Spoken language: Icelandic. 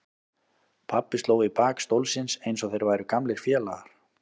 Pabbi sló í bak stólsins eins og þeir væru gamlir félagar.